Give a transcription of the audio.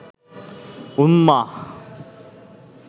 উম্মাহ